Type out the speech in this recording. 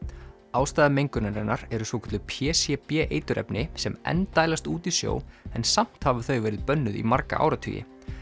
ástæða mengunarinnar eru svokölluð p c b eiturefni sem enn dælast út í sjó en samt hafa þau verið bönnuð í marga áratugi